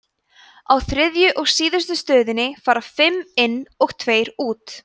á þriðju og síðustu stöðinni fara fimm inn og tveir út